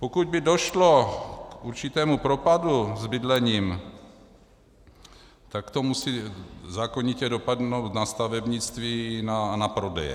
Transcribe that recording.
Pokud by došlo k určitému propadu s bydlením, tak to musí zákonitě dopadnout na stavebnictví a na prodeje.